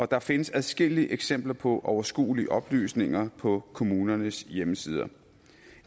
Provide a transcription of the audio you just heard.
der findes adskillige eksempler på overskuelige oplysninger på kommunernes hjemmesider